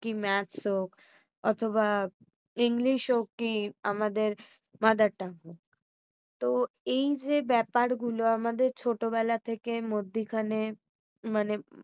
কি maths অথবা english কি আমাদের mother tongue হোক। তো এই যে ব্যাপার গুলো আমাদের ছোট বেলা থেকে মধ্যে খানে মানে